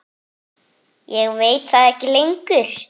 Ég veit það ekki lengur.